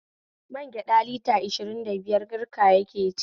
Magyaɗa lita ashirn da biyar garka yake ci